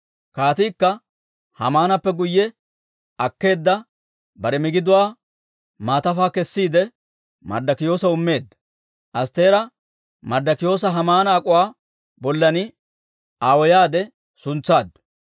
Kaatiikka Haamaanappe guyye akkeedda bare migiduwaa maatafaa kessiide, Marddokiyoosaw immeedda. Astteera Marddikiyoosa Haamana ak'uwaa bollan aawoyaade suntsaaddu.